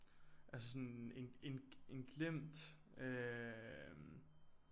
Altså sådan en en en glemt øh